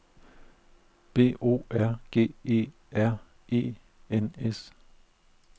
B O R G E R E N S